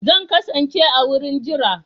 Zan kasance a wurin jira